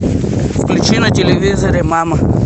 включи на телевизоре мама